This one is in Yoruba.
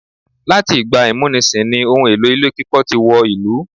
Láti ìgbà ìmúnisì ní ohun èlò ilé kíkọ́ tí wọ ìlú.